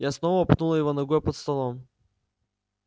я снова пнула его ногой под столом